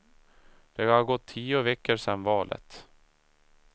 Det har gått tio veckor sen valet.